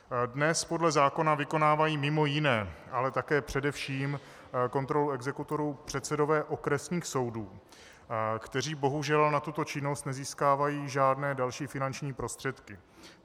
Dnes podle zákona vykonávají mimo jiné, ale také především kontrolu exekutorů předsedové okresních soudů, kteří bohužel na tuto činnost nezískávají žádné další finanční prostředky.